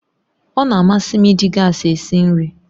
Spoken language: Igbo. Ọ na-amasị m iji gas esi nri